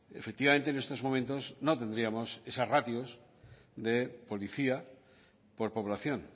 efectivamente en estos momentos no tendríamos esas ratios de policía por población